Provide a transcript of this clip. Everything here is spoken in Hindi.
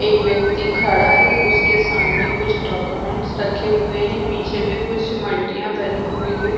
एक व्यक्ति खड़ा है उसके सामने कुछ डॉक्यूमेंट रखे हुए है पीछे भी कुछ मल्टियाँ बनी हुई है ।